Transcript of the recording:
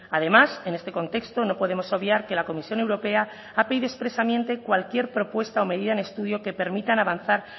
además en este contexto no podemos obviar que la comisión europea ha pedido expresamente cualquier propuesta o medida en estudio que permitan avanzar